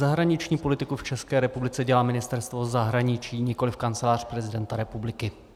Zahraniční politiku v České republice dělá Ministerstvo zahraničí, nikoliv Kancelář prezidenta republiky.